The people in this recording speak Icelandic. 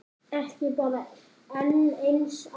Ekki bara enn eins árs?